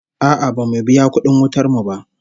No, we haven't paid our electricity bill yet